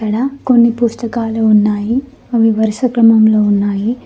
ఇక్కడ కొన్ని పుస్తకాలు ఉన్నాయి అవి వరుస క్రమంలో ఉన్నాయి.